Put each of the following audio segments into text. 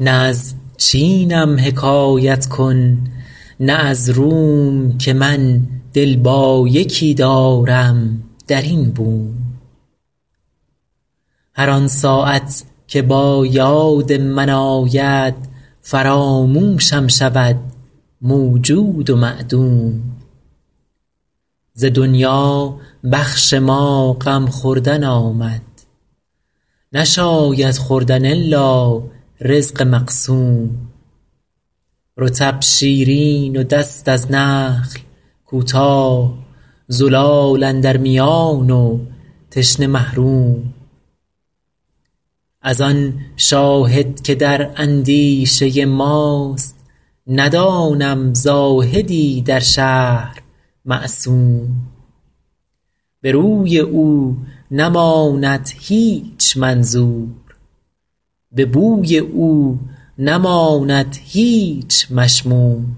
نه از چینم حکایت کن نه از روم که من دل با یکی دارم در این بوم هر آن ساعت که با یاد من آید فراموشم شود موجود و معدوم ز دنیا بخش ما غم خوردن آمد نشاید خوردن الا رزق مقسوم رطب شیرین و دست از نخل کوتاه زلال اندر میان و تشنه محروم از آن شاهد که در اندیشه ماست ندانم زاهدی در شهر معصوم به روی او نماند هیچ منظور به بوی او نماند هیچ مشموم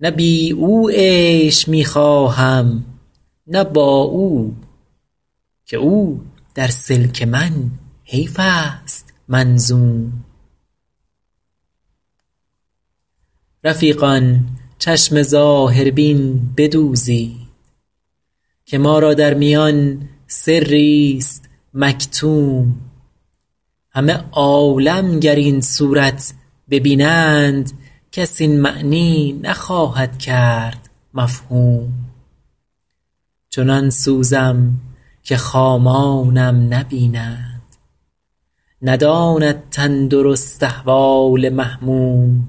نه بی او عیش می خواهم نه با او که او در سلک من حیف است منظوم رفیقان چشم ظاهربین بدوزید که ما را در میان سریست مکتوم همه عالم گر این صورت ببینند کس این معنی نخواهد کرد مفهوم چنان سوزم که خامانم نبینند نداند تندرست احوال محموم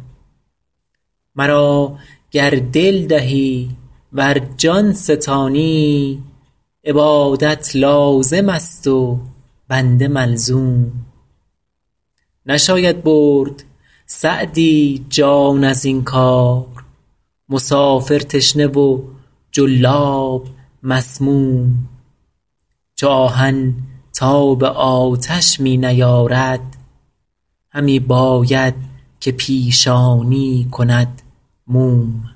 مرا گر دل دهی ور جان ستانی عبادت لازم است و بنده ملزوم نشاید برد سعدی جان از این کار مسافر تشنه و جلاب مسموم چو آهن تاب آتش می نیارد همی باید که پیشانی کند موم